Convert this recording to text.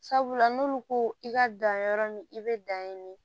Sabula n'olu ko i ka dan yɔrɔ min i bɛ dan ye